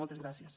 moltes gràcies